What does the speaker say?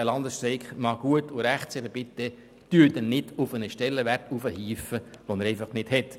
Der Landesstreik mag gut und recht sein, aber bitte geben Sie ihm nicht einen Stellenwert, den er einfach nicht hat.